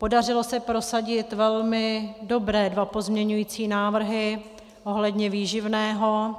Podařilo se prosadit velmi dobré dva pozměňující návrhy ohledně výživného.